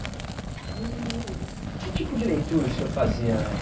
E que tipo de leitura o senhor fazia na